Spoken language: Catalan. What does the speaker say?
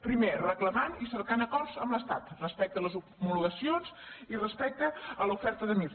primer reclamant i cercant acords amb l’estat respecte a les homologacions i respecte a l’oferta de mir